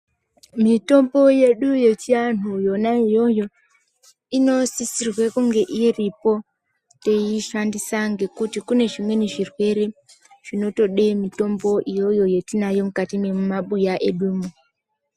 Mitombo yedu yechianhu yona iyoyo, inosisirwe kunge iripo teishandisa ngekuti kune zvimweni zvirwere zvinotode mitombo iyoyo yetinayo mukati mwemabuya edu.